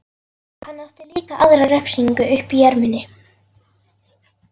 Hann átti líka aðra refsingu uppi í erminni.